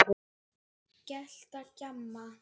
Gelta, gjamma.